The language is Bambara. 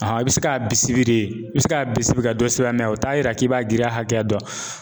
i bɛ se k'a bisiki de i bɛ se k'a bisiki ka dɔ sɛbɛn o t'a yira k'i b'a girinya hakɛya dɔn